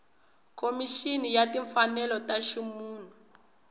khomixini ya timfanelo ta ximunhu